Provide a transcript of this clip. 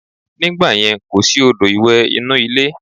Nígbàyẹn, kò sí odò ìwẹ̀ inú ilé